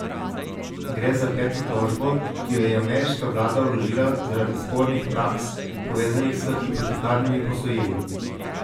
Gre za peto tožbo, ki jo je ameriška vlada vložila zaradi spornih praks, povezanih s hipotekarnimi posojili.